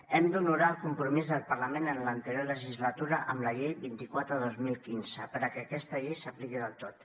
hem d’honorar el compromís del parlament en l’anterior legislatura amb la llei vint quatre dos mil quinze perquè aquesta llei s’apliqui del tot